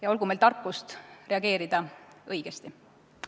Ja olgu meil tarkust reageerida õigesti.